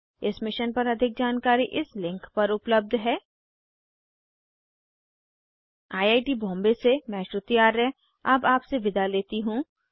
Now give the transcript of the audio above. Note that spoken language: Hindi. इस मिशन पर अधिक जानकारी इस लिंक पर उपलब्ध है httpspoken tutorialorgNMEICT Intro I I T Bombay से मैं श्रुति आर्य अब आपसे विदा लेती हूँ